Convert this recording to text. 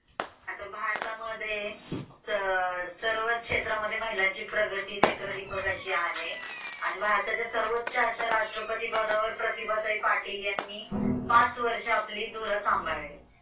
आता भारतामध्ये सर्वच क्षेत्रांमध्ये महिलांची प्रगती नेत्र दीपिकाशी आहे आणि भारताच्या सर्वोच्च अशा राष्ट्रपती पदावर प्रतिभाताई पाटील यांनी पाच वर्ष आपली धोरण सांभाळलं